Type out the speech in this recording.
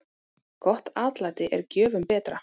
Gott atlæti er gjöfum betra.